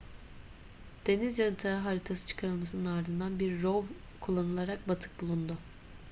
deniz yatağı haritası çıkarılmasının ardından bir rov kullanılarak batık bulundu